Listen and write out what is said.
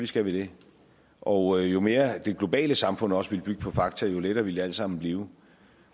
skal vi det og jo mere det globale samfund også vil bygge på fakta jo lettere vil det alt sammen blive